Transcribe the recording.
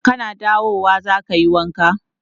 Kana dawowa za ka yi wanka?